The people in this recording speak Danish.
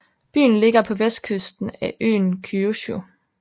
Byen ligger på vestkysten af øen Kyushu